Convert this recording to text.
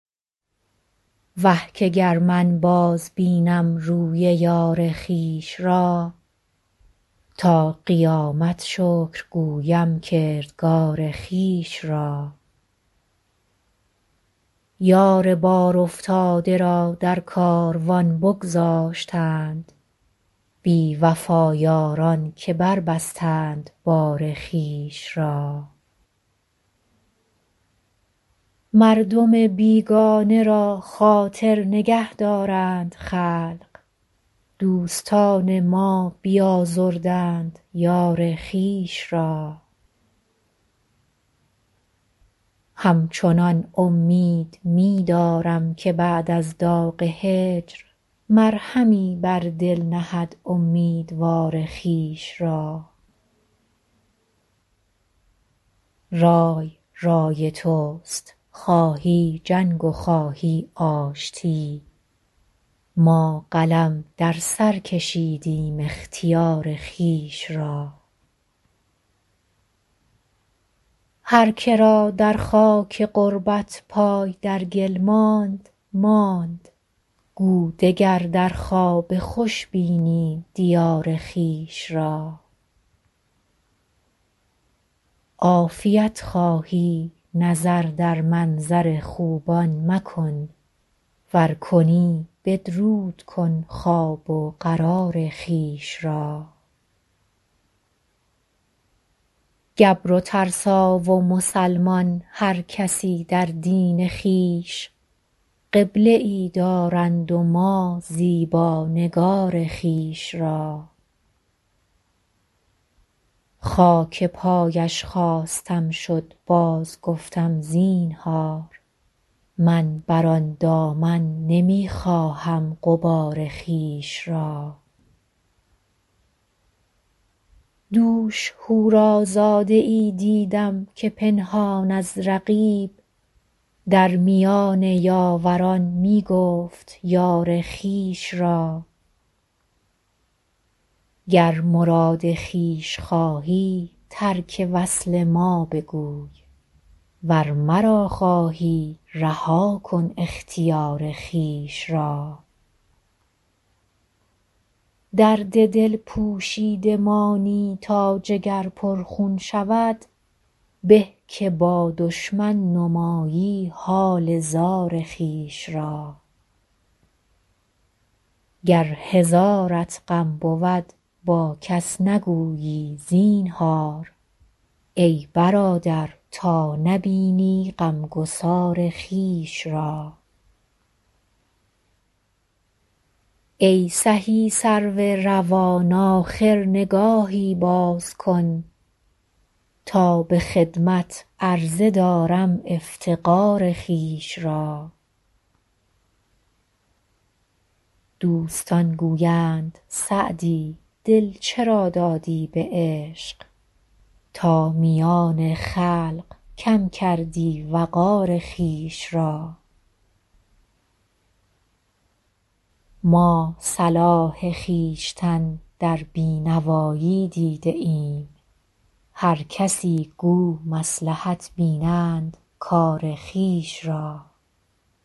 وه که گر من بازبینم روی یار خویش را تا قیامت شکر گویم کردگار خویش را یار بارافتاده را در کاروان بگذاشتند بی وفا یاران که بربستند بار خویش را مردم بیگانه را خاطر نگه دارند خلق دوستان ما بیازردند یار خویش را همچنان امید می دارم که بعد از داغ هجر مرهمی بر دل نهد امیدوار خویش را رای رای توست خواهی جنگ و خواهی آشتی ما قلم در سر کشیدیم اختیار خویش را هر که را در خاک غربت پای در گل ماند ماند گو دگر در خواب خوش بینی دیار خویش را عافیت خواهی نظر در منظر خوبان مکن ور کنی بدرود کن خواب و قرار خویش را گبر و ترسا و مسلمان هر کسی در دین خویش قبله ای دارند و ما زیبا نگار خویش را خاک پایش خواستم شد بازگفتم زینهار من بر آن دامن نمی خواهم غبار خویش را دوش حورازاده ای دیدم که پنهان از رقیب در میان یاوران می گفت یار خویش را گر مراد خویش خواهی ترک وصل ما بگوی ور مرا خواهی رها کن اختیار خویش را درد دل پوشیده مانی تا جگر پرخون شود به که با دشمن نمایی حال زار خویش را گر هزارت غم بود با کس نگویی زینهار ای برادر تا نبینی غمگسار خویش را ای سهی سرو روان آخر نگاهی باز کن تا به خدمت عرضه دارم افتقار خویش را دوستان گویند سعدی دل چرا دادی به عشق تا میان خلق کم کردی وقار خویش را ما صلاح خویشتن در بی نوایی دیده ایم هر کسی گو مصلحت بینند کار خویش را